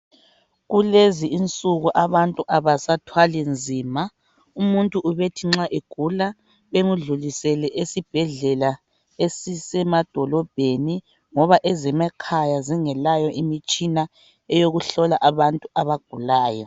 Kulezinsuku abantu abasathwali nzima. Umuntu ubethi nxa egula bemdlulisele esibhedlela ezisemadolobheni ngaba ezemakhaya zingelayo imitshina eyokuhlola abantu abagulayo.